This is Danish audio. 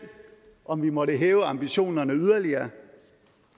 om vi måtte hæve ambitionerne yderligere kan